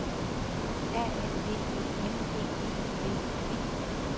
A N V E N D E L I G